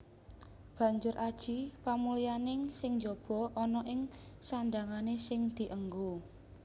Banjur aji pamulyaning sing njaba ana ing sandhangané sing dienggo